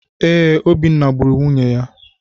Ee, Obinna gburu nwunye ya.